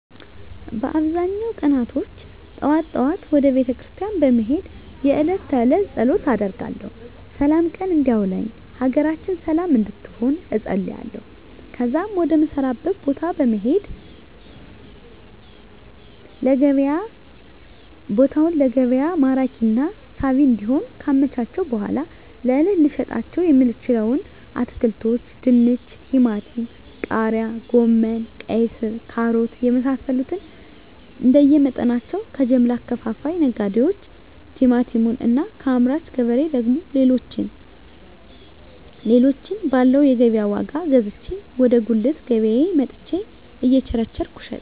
በአብዛኛው ቀናቶች ጠዋት ጠዋት ወደ ቤተክርስቲያን በመሄድ የእለት ተእለት ፀሎት አደርጋለሁ ስላም ቀን እንዲያውለኝ ሀገራችንን ሰለም እንድትሆን እፀልያለሁ ከዚያም ወደ ምሰራበት ቦታ በመሄድ ቦታውን ለገቢያ ማራኪና ሳቢ እንዲሆን ካመቻቸሁ በኃላ ለእለት ልሸጣቸው የምችለዉን አትክልቶች ድንች ቲማቲም ቃሪያ ጎመን ቀይስር ካሮት የመሳሰሉትንእንደየ መጠናቸው ከጀምላ አከፋፋይ ነጋዴዎች ቲማቲሙን እና ከአምራች ገበሬ ደግሞ ሌሎችን ባለው የገቢያ ዋጋ ገዝቼ ወደ ጉልት ገቢያየ መጥቸ እየቸረቸርኩ እሸጣለሁ